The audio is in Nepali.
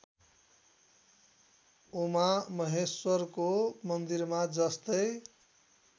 उमामहेश्वरको मन्दिरमा जस्तै